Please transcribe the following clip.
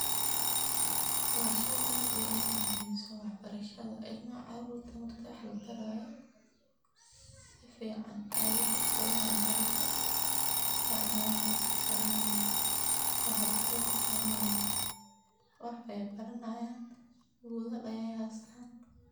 Waa shey aad iyo aad umuhiimsan wax barashadha ilmaha caruurta marka wax labaraayo sifican ayee wax uqabanayaan haraka sifican ayeey na wax ubaranayaan ee haraka wax ufahmayaan ,wax eey baranayaan buugal ayey hastaan.